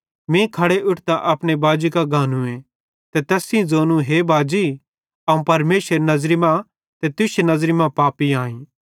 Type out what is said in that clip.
मीं खड़े उठतां अपने बाजी कां गानूए ते तैस सेइं ज़ोनूए हे बाजी अवं परमेशरेरी नज़री मां ते तुश्शी नज़री मां पापी आईं